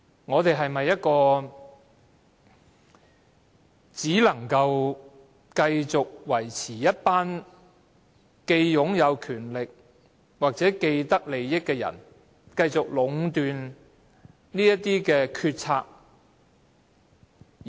我們是否繼續容讓一群擁有權力的人或既得利益者壟斷決策呢？